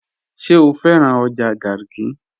Ṣẹ̀ o fẹ̀ràn ọjà Garki?